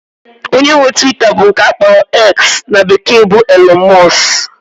Onye nwe Twita bụ nke akpọrọ "X" in bekee bụ Elọn Mọs